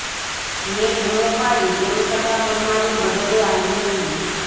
મેં બુમો પાડી તેમ છતાં કોઇ મારી મદદે આવ્યું નહીં